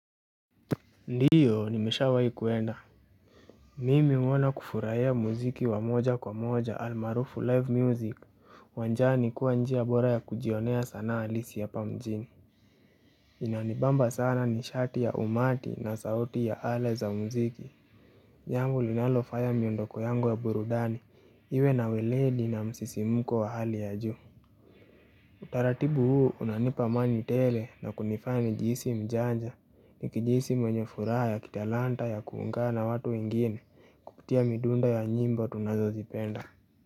Ndiyo nimeshawai kuenda mimi humwona kufurahia muziki wa moja kwa moja al marufu live music uwanjani kuwa njia bora ya kujionea sanaa halisi hapa mjini inanibamba sana nishati ya umati na sauti ya ala za muziki yangu linalofanya miondoko yangu ya burudani iwe naweledi na msisimuko wa hali ya juu Utaratibu huu unanipa amani tele na kunifanya nijisi mjanja nikijisi mwenye furaha ya kitalanta ya kuungana watu wengine kupitia midunda ya nyimbo tunazozipenda.